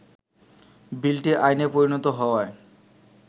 বিলটি আইনে পরিণত হওয়ায়